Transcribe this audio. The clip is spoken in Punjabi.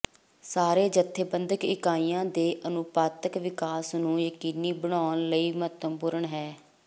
ਸਾਰੇ ਜਥੇਬੰਦਕ ਇਕਾਈਆਂ ਦੇ ਅਨੁਪਾਤਕ ਵਿਕਾਸ ਨੂੰ ਯਕੀਨੀ ਬਣਾਉਣ ਲਈ ਮਹੱਤਵਪੂਰਨ ਹੈ